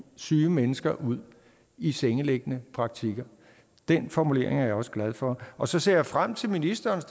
syge mennesker ud i sengeliggende praktik den formulering er jeg også glad for og så ser jeg frem til ministerens